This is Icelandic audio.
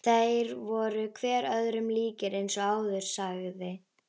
Þeir voru hver öðrum líkir eins og áður sagði.